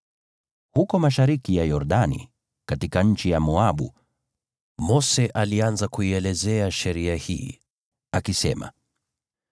Huko mashariki ya Yordani katika nchi ya Moabu, Mose alianza kuielezea sheria hii, akisema: